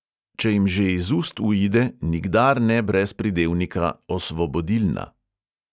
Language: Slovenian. Če jim že iz ust uide, nikdar ne brez pridevnika "osvobodilna".